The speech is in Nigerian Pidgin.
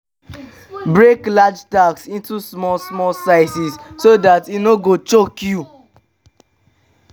break large task into small small sizes so dat e no go choke you